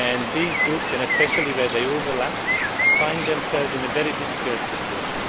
These groups, especially where they overlap, find themselves in a very difficult situation.